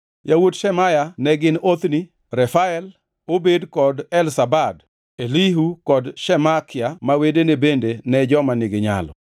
Yawuot Shemaya ne gin, Othni, Refael, Obed kod Elzabad; Elihu kod Semakia ma wedene bende ne joma niginyalo.